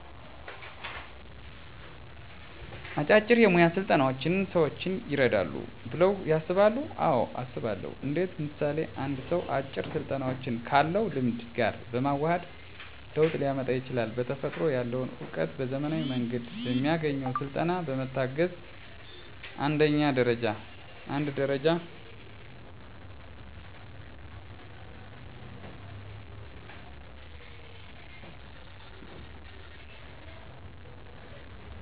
አጫጭር የሞያ ስልጠናዎች ሰዎችን ይረዳሉ ብለው ያስባሉ አዎ አስባለሁ እንዴት ምሳሌ አንድ ሰው አጭር ስልጠናዎችን ካለው ልምድ ጋር በማዋሀድ ለውጥ ሊያመጣ ይችላል በተፈጥሮ ያለውን እውቀት በዘመናዊ መንገድ በሚያገኘው ስልጠና በመታገዝ አንድ ደረጃ ከፍ ማድረግ ይችላል ደግሞም አዋጭ ነው ምሳሌ በልምድ ፀጉር መስራት የሚችል ሰው የተለያዮ የፀጉር አሰራር አይነት በስለጠና ቢሰጠው የተሻለ የፀጉር ባለሙያ ሊሆን ይችላል እንዲሁም ሌሎች እንደልብስ ስፌት የኮምፒተር መሠረታዊ እውቀቶች የምግብ ዝግጅት የመሳሰሉት